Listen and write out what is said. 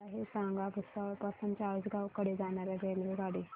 मला हे सांगा भुसावळ पासून चाळीसगाव कडे जाणार्या रेल्वेगाडी